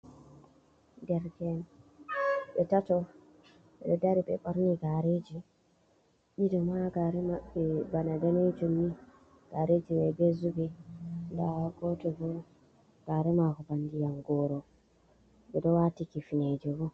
Derke'en ɓe tato, ɓeɗo dari be ɓorni gareji, ɗiɗo ma gare mabɓe bana daneejum ni, gareji mai be zubi dawa goto bo gare maako ndiyam gooro, ɓeɗon wati kifneeje bo.